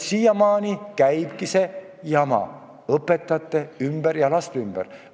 Siiamaani käibki see jama õpetajate ja laste ümber.